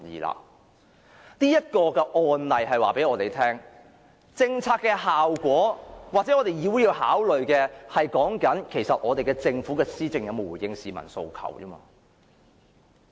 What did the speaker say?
這一個案例告訴我們，政策的效果是議會所要考慮的，即我們須着眼於政府的施政有否回應市民訴求。